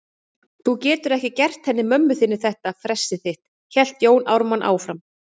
Þú getur ekki gert henni mömmu þinni þetta fressið þitt, hélt Jón Ármann áfram.